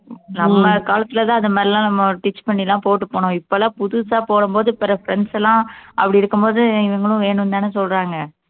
நம்ம காலத்துலதான் அது மாதிரி எல்லாம் நம்ம stich பண்ணிதான் போட்டு போனோம் இப்பெல்லாம் புதுசா போடும்போது பிற friends எல்லாம் அப்படி இருக்கும்போது இவங்களும் வேணும்ன்னுதானே சொல்றாங்க